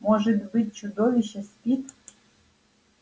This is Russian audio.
может быть чудовище спит